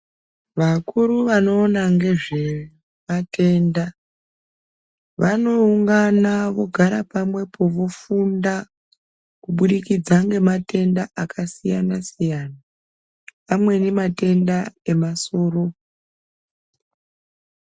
Vakuru vanoona ngezvematenda vanoungana vogara pamwepo vofunda kubudikidza ngematenda akasiyana siyana pamweni matenda emasoro.